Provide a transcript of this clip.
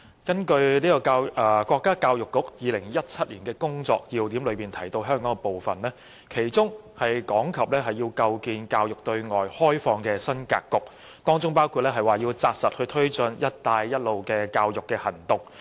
根據國家教育部《2017年工作要點》提到香港的部分，其中講及要構建教育對外開放的新格局，當中包括扎實推進"一帶一路"的教育行動。